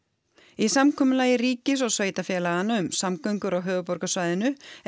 í samkomulagi ríkis og sveitarfélaganna um samgöngur á höfuðborgarsvæðinu er